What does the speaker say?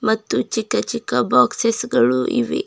ಮತ್ತು ಚಿಕ್ಕ ಚಿಕ್ಕ ಬಾಕ್ಸೆಸ್ ಗಳು ಇವೆ.